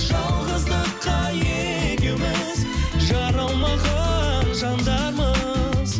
жалғыздыққа екеуіміз жаралмаған жандармыз